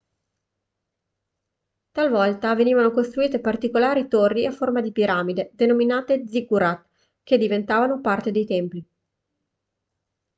talvolta venivano costruite particolari torri a forma di piramide denominate ziggurat che diventavano parte dei templi